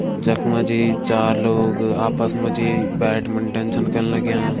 जख मजी चार लोग आपस मजी बैटमिंटन छन खेन लग्यां।